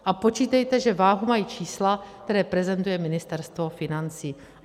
A počítejte, že váhu mají čísla, která prezentuje Ministerstvo financí.